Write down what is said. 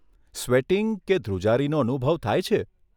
Sweating કે ધ્રૂજારીનો અનુભવ થાય છે?